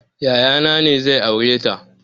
Yaya na ne zai aureta